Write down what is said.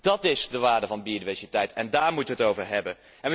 Dat is de waarde van biodiversiteit en daar moeten wij het over hebben.